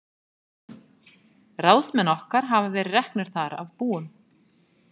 Ráðsmenn okkar hafa verið reknir þar af búum.